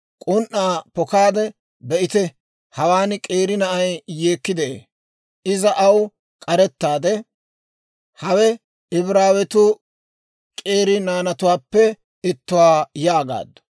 k'un"aa pokaade, be'ite hawaan k'eeri na'ay yeekki de'ee; iza aw k'arettaade; «Hawe Ibraawetu k'eeri naanatuwaappe ittuwaa» yaagaaddu.